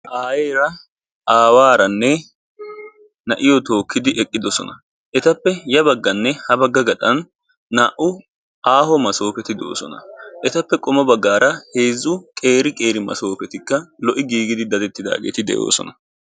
Aayyera aawaranne na'iyo tookkidi eqqidoosona. Etappe ya bagganne ha bagga gaxxan naa''u aaho maasopeti de'osona. Etappe qommo baggaara heezzu qeeri qeeri maasofetikka lo"i giigidi daddetti de'oosoan.